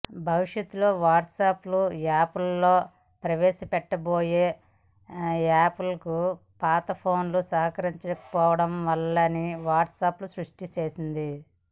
భవిష్యత్తులో వాట్సాప్ యాప్లో ప్రవేశపెట్టబోయే యాప్లకు పాత ఫోన్లు సహకరించకపోవడం వల్లేనని వాట్సాప్ స్పష్టంచేసింది